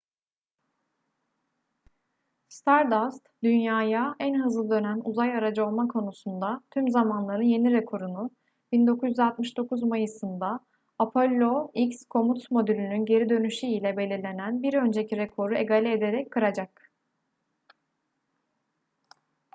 stardust dünya'ya en hızlı dönen uzay aracı olma konusunda tüm zamanların yeni rekorunu 1969 mayıs'ında apollo x komut modülünün geri dönüşü ile belirlenen bir önceki rekoru egale ederek kıracak